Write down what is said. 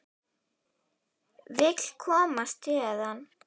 Vill komast héðan.